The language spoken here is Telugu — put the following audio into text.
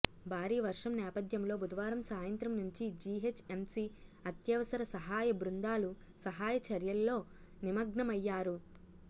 భారీ వర్షం నేపథ్యంలో బుధవారం సాయంత్రం నుంచి జిహెచ్ఎంసి అత్యవసర సహాయ బృందాలు సహాయ చర్యల్లో నిమగ్నమైయ్యారు